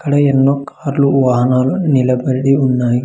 అక్కడ ఎన్నో కార్లు వాహనలు నిలబడి ఉన్నాయి.